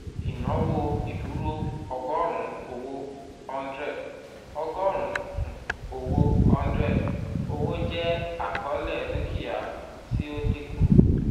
ìnáwó ìdúró ọgọ́rùn owó(100) ọgọ́rùn um owó (100) owó jẹ́ àkọọ́lẹ̀ dúkìá tí ó dínkù